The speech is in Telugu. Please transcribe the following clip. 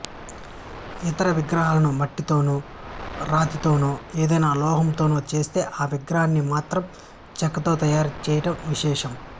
ఇతర విగ్రహాలను మట్టితోనో రాతితోనో ఏదైనా లోహంతోనో చేస్తే ఈ విగ్రహాన్ని మాత్రం చెక్కతో తయారు చేయడం విశేషం